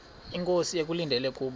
inkosi ekulindele kubo